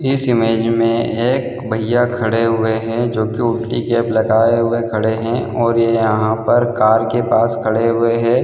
इस इमेज में एक भैया खड़े हुएं हैं जो की उल्टी कैप लगाए हुए खड़ें हैं और ये यहाँ पर कार के पास खड़े हुएं हैं।